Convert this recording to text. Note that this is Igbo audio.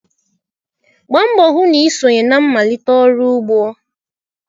Gbaa mbọ hụ na ị sonye na mmalite ọrụ ugbo!